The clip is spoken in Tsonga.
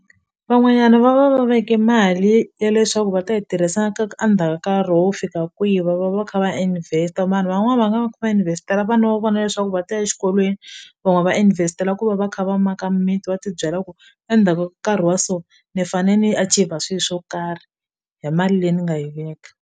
Van'wanyana va va va veke mali ya leswaku va ta yi tirhisa a ndzhaka nkarhi wo fika kwihi va va va va kha va ya invest-a vanhu van'wani va nga va kha va invest-ela vana va vona leswaku va ta ya xikolweni van'wani va invest-ela ku va va kha va maka mimiti va ti byela ku endzhaku nkarhi wa so ni fane ni achiever swi swo karhi hi mali leyi ni nga yi veka.